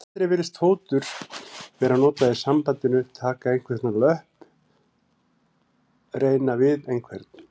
Aldrei virðist fótur vera notað í sambandinu taka einhvern á löpp reyna við einhvern.